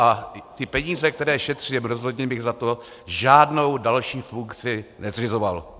A ty peníze, které šetří, rozhodně bych za to žádnou další funkci nezřizoval.